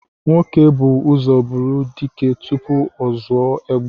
Nwoke bú ụzọ bụrụ dike tupu ọ zụọ egbe